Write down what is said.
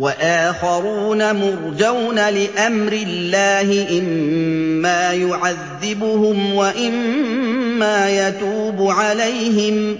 وَآخَرُونَ مُرْجَوْنَ لِأَمْرِ اللَّهِ إِمَّا يُعَذِّبُهُمْ وَإِمَّا يَتُوبُ عَلَيْهِمْ ۗ